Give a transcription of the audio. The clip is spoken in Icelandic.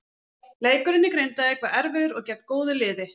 Leikurinn í Grindavík var erfiður og gegn góðu liði.